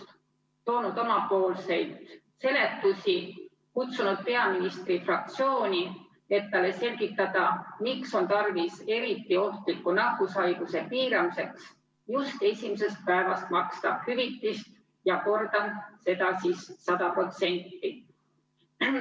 Oleme toonud omapoolseid seletusi, kutsunud peaministri fraktsiooni, et talle selgitada, miks on tarvis eriti ohtliku nakkushaiguse piiramiseks just esimesest päevast maksta hüvitist ja seda 100%.